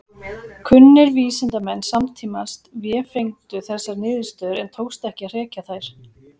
Kunnir vísindamenn samtímans vefengdu þessar niðurstöður en tókst ekki að hrekja þær.